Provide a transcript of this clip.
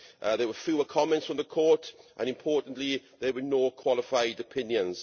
There were fewer comments from the Court and, importantly, there were no qualified opinions.